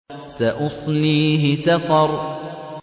سَأُصْلِيهِ سَقَرَ